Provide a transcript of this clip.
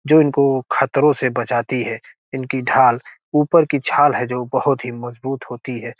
जो इनको खतरों से बचाती है इनकी ढाल ऊपर की छाल है जो बहुत ही मजबूत होती है।